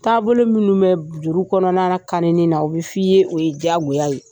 Taabolo minnu bɛ juru kɔnɔna kani na o bɛ f'i ye, o ye diyagoya ye.